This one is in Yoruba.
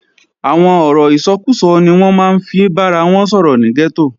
Àwọn ọ̀rọ̀ ìsọkúsọ ni wọ́n máa ń fi bára wọn sọ̀rọ̀ ní gẹ́tò